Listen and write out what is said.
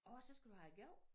Åh så skal du have æ gav